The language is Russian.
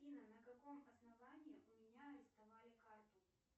афина на каком основании у меня арестовали карту